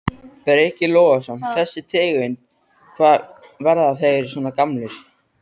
Breki Logason: Þessi tegund, hvað, verða þeir svona gamlir?